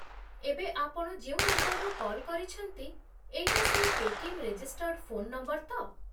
ଏବେ ଆପଣ ଯେଉଁ ନମ୍ବରରୁ କଲ୍ କରିଛନ୍ତି ଏଇଟା ସେଇ ପେ'ଟିଏମ୍ ରେଜିଷ୍ଟର୍ଡ଼ ଫୋନ୍ ନମ୍ବର ତ?